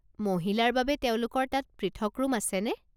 মহিলাৰ বাবে তেওঁলোকৰ তাত পৃথক ৰুম আছেনে?